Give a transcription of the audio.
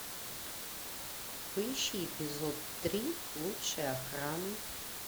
поищи эпизод три лучшая охрана